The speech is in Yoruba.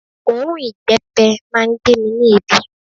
Òórùn ìbẹ́pẹ máa ń gbé mi ní èébì